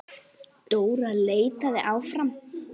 Dóra leitaði áfram.